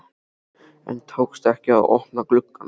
En tókst ekki að opna glugg ann.